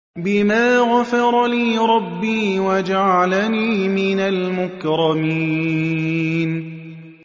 بِمَا غَفَرَ لِي رَبِّي وَجَعَلَنِي مِنَ الْمُكْرَمِينَ